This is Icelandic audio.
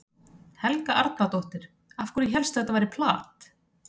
Helga Arnardóttir: Af hverju hélstu að þetta væri plat?